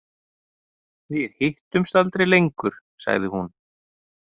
Við hittumst aldrei lengur, sagði hún.